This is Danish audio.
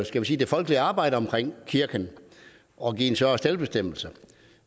skal vi sige det folkelige arbejde omkring kirken og give større selvbestemmelse